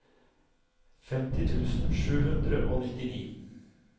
femti tusen sju hundre og nittini